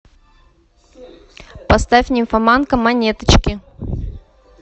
поставь нимфоманка монеточки